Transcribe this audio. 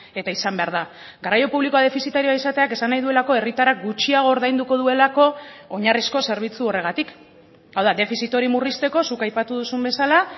eta izan behar da garraio publikoa defizitarioa izateak esan nahi duelako herritarrak gutxiago ordainduko duelako oinarrizko zerbitzu horregatik hau da defizit hori murrizteko zuk aipatu duzun bezala